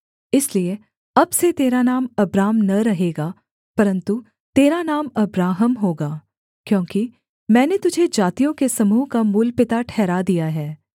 इसलिए अब से तेरा नाम अब्राम न रहेगा परन्तु तेरा नाम अब्राहम होगा क्योंकि मैंने तुझे जातियों के समूह का मूलपिता ठहरा दिया है